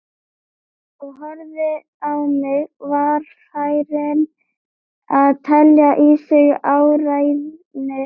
Og horfði á mig, varfærin að telja í sig áræðni.